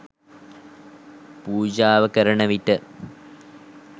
පූජාව කරන විට